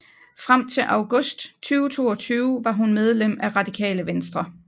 Frem til august 2022 var hun medlem af Radikale Venstre